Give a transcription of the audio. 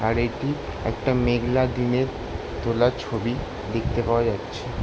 আর এটি একটা মেঘলা দিনে তোলা ছবি দেখতে পাওয়া যাচ্ছে।